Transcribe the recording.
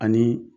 Ani